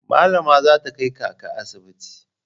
Malama za ta kai kaka asibiti.